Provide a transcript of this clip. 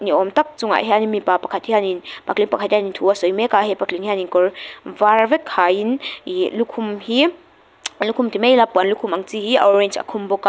ni awm tak chungah hian in mipa pakhat hian in patling pakhat hian thu a sawi mek a he patling hian in kawr var vek ha in ihh lukhum hi lukhum ti mai ila puan lukhum ang chi hi a orange a khum bawk a.